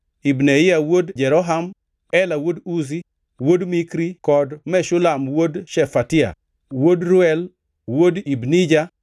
Ibneia wuod Jeroham; Ela wuod Uzi, wuod Mikri kod Meshulam wuod Shefatia, wuod Reuel, wuod Ibnija.